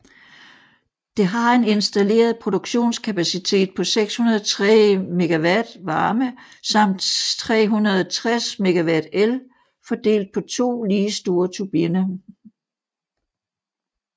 Det har en installeret produktionskapacitet på 603 MW varme samt 360 MW el fordelt på to lige store turbiner